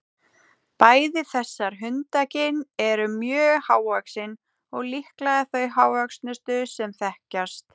Bæði þessar hundakyn eru mjög hávaxin og líklega þau hávöxnustu sem þekkjast.